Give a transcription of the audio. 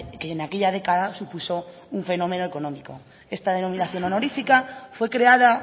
que en aquella década supuso un fenómeno económico esta denominación honorífica fue creada